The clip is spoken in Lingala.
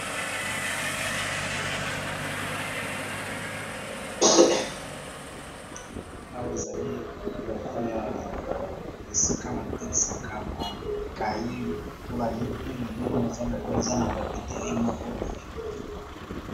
awa ezali lokola esika batekisaka bakaye to balibwe na bomoleza lokola eza na papetee moko boye